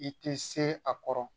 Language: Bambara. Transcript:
I tɛ se a kɔrɔ